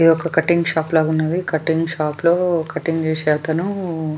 ఇది ఒక cutting shop లగా ఉన్నవి కటింగ్ షాప్ లో కటింగ్ చేసేస అతను.